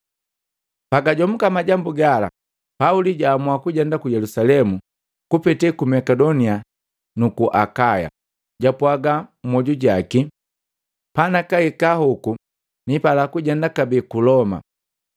Pagajomuka majambu gala, Pauli jamua kujenda ku Yelusalemu kupete Makedonia na nuku Akaya. Japwaaga mmoju jaki, “Panakahika hoku nipalika kujenda kabee ku Loma.